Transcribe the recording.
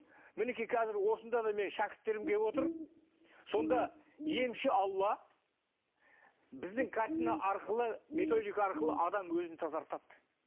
мінекей қазір осында да менің шәкірттерім келіп отыр сонда емші алла біздің картина арқылы методика арқылы адам өзін тазартады